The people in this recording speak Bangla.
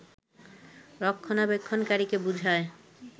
রক্ষণাবেক্ষনকারীকে বুঝায়